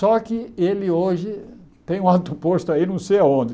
Só que ele hoje tem um alto posto aí, não sei aonde.